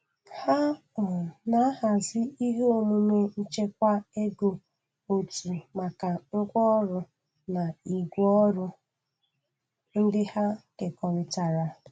Ha um na-ahazi ihe omume nchekwa ego otu maka ngwa orụ na igwe ọrụ ndị ha kekọritara.